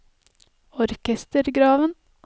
orkestergraven